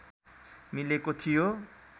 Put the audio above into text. मिलेको थियो